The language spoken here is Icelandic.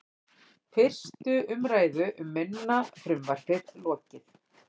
Fyrstu umræðu um minna frumvarpið lokið